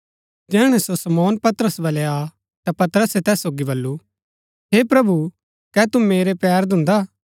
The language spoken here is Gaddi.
जैहणै सो शमौन पतरस बलै आ ता पतरसे तैस सोगी बल्लू हे प्रभु कै तू मेरै पैर धून्धा